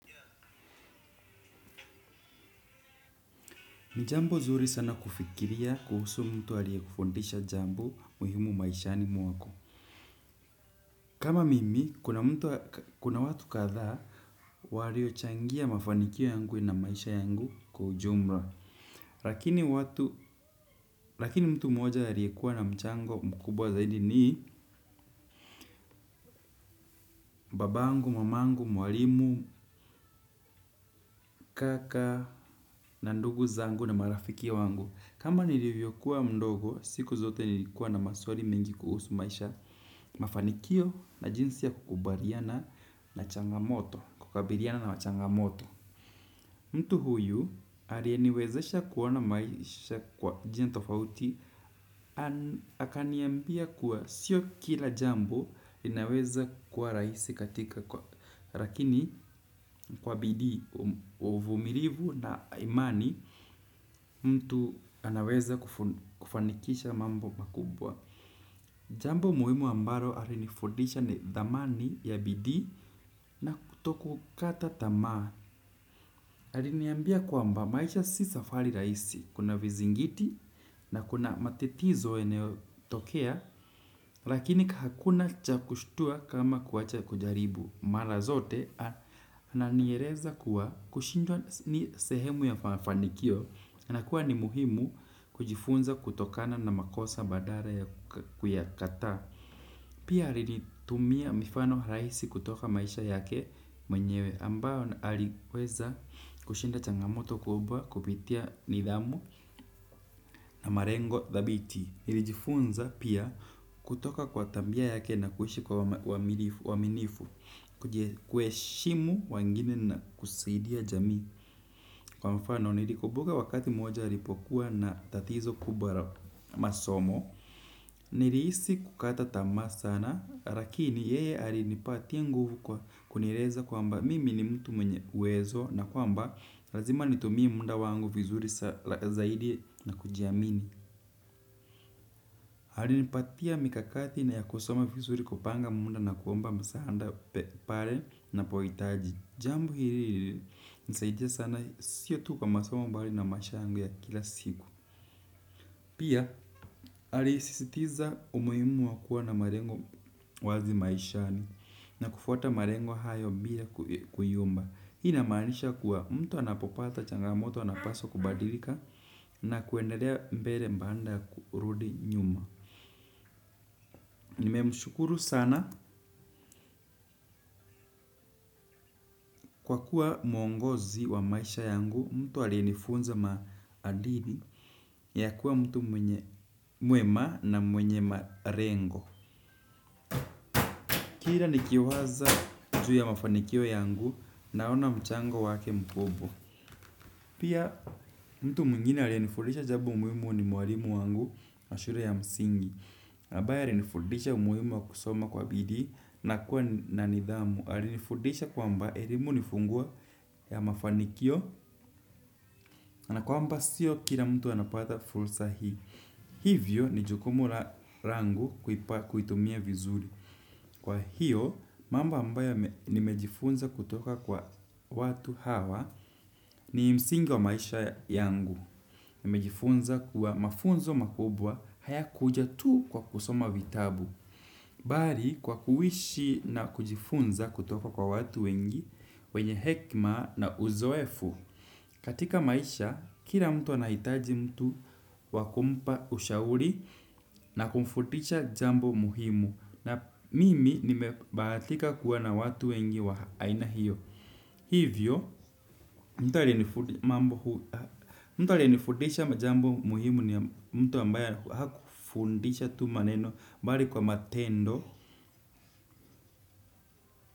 Ni jambo zuri sana kufikiria kuhusu mtu alie kufundisha jambo muhimu maishani mwako. Kama mimi, kuna watu kadhaa waliochangia mafanikio yangu na maisha yangu kwa ujumra lakini rakini mtu mmoja alie kuwa na mchango mkubwa zaidi ni babangu, mamangu, mwalimu, kaka, na ndugu zangu na marafiki wangu. Kama nilivyokuwa mdogo, siku zote nilikuwa na maswali mingi kuhusu maisha mafanikio na jinsi ya kukubaliana na changamoto, kukabiriana na changamoto. Mtu huyu alieniwezesha kuoana maisha kwa jia tofauti. Anakaniambia kuwa sio kila jambo inaweza kuwa raisi katika kwa rakini kwa bidii uvumirivu na imani mtu anaweza kufanikisha mambo makubwa. Jambo muimu ambaro alinifundisha ni dhamani ya bidii na kutoku kata tamaa. Aliniambia kwamba maisha si safali raisi, kuna vizingiti na kuna matetizo yeneo tokea, lakini hakuna chakushtua kama kuacha kujaribu. Mara zote, ananiereza kuwa kushindwa ni sehemu ya fanikio, anakuwa ni muhimu kujifunza kutokana na makosa badara ya kuyakataa. Pia alilitumia mifano raisi kutoka maisha yake mwenyewe ambayo na aliweza kushinda changamoto kubwa kupitia nidhamu na marengo dhabiti. Nilijifunza pia kutoka kwa tambia yake na kuishi kwa uaminifu, kuheshimu wengine na kusidia jamii. Kwa mfano nilikubuka wakati moja alipokuwa na tatizo kubwa ra masomo. Niriisi kukata tamaa sana. Rakini yeye alinipatia nguvu kwa kunireza kwamba mimi ni mtu mwenye uwezo. Na kwamba lazima nitumie munda wangu vizuri zaidi na kujiamini. Alinipatia mikakati na ya kusoma vizuri kupanga munda na kuomba masahanda pare napoitaji. Jambo hiri ririnisaidia sana sio tu kwa masomo mbali na maisha yangu ya kila siku. Pia alisisitiza umuhimu wa kuwa na marengo wazi maishani na kufuata marengo hayo bila kuyumba. Hii inamaanisha kuwa mtu anapopata changamoto anapaswa kubadilika na kuendelea mbele mbaanda kurudi nyuma. Nimemshukuru sana kwa kuwa mwongozi wa maisha yangu mtu alienifunza maadili ya kuwa mtu mwema na mwenye marengo. Kira nikiwaza juu ya mafanikio yangu naona mchango wake mkubwa. Pia mtu mwingine alienifundisha jabo muimu ni mwalimu wangu na shure ya msingi abaye alinifudisha umuhimu wa kusoma kwa bidii na kuwa na nidhamu alinifudisha kwamba erelimu nifunguo ya mafanikio na kwamba sio kila mtu anapata fursa hii. Hivyo ni jukumu langu kuitumia vizuri. Kwa hiyo, mambo ambayo nimejifunza kutoka kwa watu hawa ni msingi wa maisha yangu. Nimejifunza kuwa mafunzo makubwa hayakuja tu kwa kusoma vitabu bari kwa kuishi na kujifunza kutoka kwa watu wengi wenye hekma na uzoefu katika maisha, kila mtu anahitaji mtu wakumpa ushauri na kumfutisha jambo muhimu. Na mimi nimebahatika kuwa na watu wengi wa aina hiyo. Hivyo, mtu alenifundisha jambo muhimu mtu ambaye hakufundisha tu maneno bali kwa matendo.